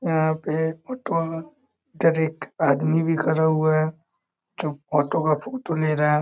यहाँ पे auto truck इधर एक आदमी भी खड़ा हुआ है जो ऑटो का फोटो ले रहा है।